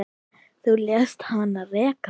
Þú lést hann reka mig